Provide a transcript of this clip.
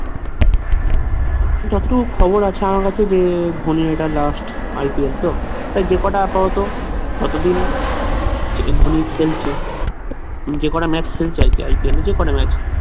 যত টুকু খবর আছে আমার কাছে যে ধোনি এটা last IPL তো তাই যেকটা আপাতত ততদিন যে ধোনি খেলছে যেকটা match খেলছে আরকি IPL এ যেকোনো match